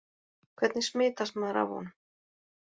Hvernig smitast maður af honum?